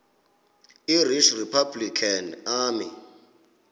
irish republican army